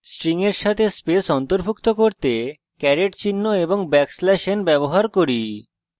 আমরা string we সাথে space অন্তর্ভুক্ত করতে caret চিহ্ন এবং \n ব্যবহার করছি